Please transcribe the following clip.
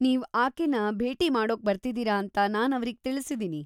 ನೀವ್‌ ಆಕೆನ ಭೇಟಿ ಮಾಡೋಕ್ಬರ್ತಿದೀರಾ ಅಂತ ನಾನ್‌ ಅವ್ರಿಗೆ ತಿಳ್ಸಿದೀನಿ.